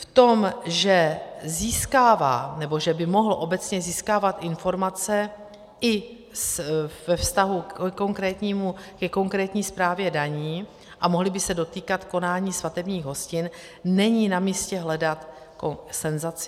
V tom, že získává nebo že by mohl obecně získávat informace i ve vztahu ke konkrétní správě daní a mohly by se dotýkat konání svatebních hostin, není na místě hledat senzaci.